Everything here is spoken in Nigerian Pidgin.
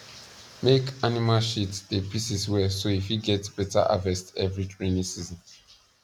make animal shit dey pieces well so e fit get beta harvest every raining season